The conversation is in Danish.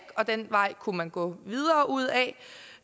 og den vej kunne man gå videre udad det